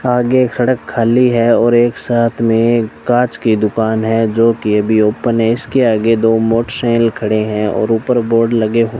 आगे एक सड़क खाली है और एक साथ में एक कांच की दुकान है जो कि अभी ओपन है इसके आगे दो मोटरसाइकिल खड़े हैं और ऊपर बोर्ड लगे हु --